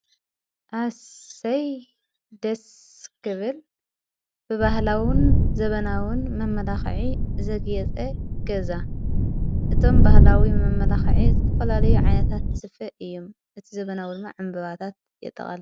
ኣሰይ ደስክብል ብባህላዉን ዘበናዉን መመላኽዒ ዘግየፀ ገዛ እቶም ባህላዊ መመላኽዐ ዘተፈላለዩ ዓነታት ስፍ እዩ እቲ ዘበናዊን ዓምበባታት የጠቓልል።